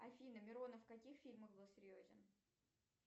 афина миронов в каких фильмах был серьезен